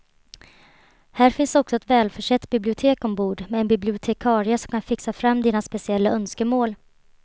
Här finns också ett välförsett bibliotek ombord med en bibliotekarie som kan fixa fram dina speciella önskemål.